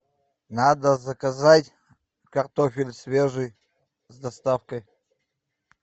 надо заказать картофель свежий с доставкой